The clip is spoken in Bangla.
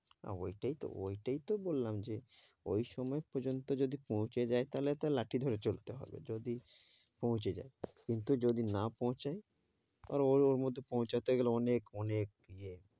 না ঐটাই তো ঐটাই তো বললাম যে ঐ সময় পর্যন্ত যদি পৌঁছে যাই তাহলে তো আর লাঠি ধরে চলতে হবে যদি পৌঁছে যাই। কিন্তু যদি না পৌঁছাই? আর ওর ওর মধ্যে পৌঁছাতে গেলে অনেক অনেক ইয়ে,